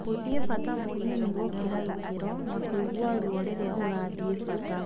Gũthie bata mũnini gũkira ikero, na kũgia ruo riria ũrathie bata.